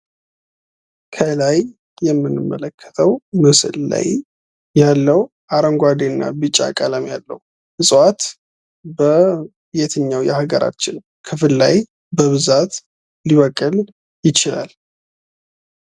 ከላይ የምንመለከተው ምስል ላይ ያለው አረንጓዴና ቢጫ ቀለም ያለው እፅዋት በየትኛው የሀገራችን ክፍል ላይ በብዛት ሊበቅል ይችላል።